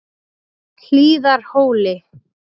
Hlíðarhóli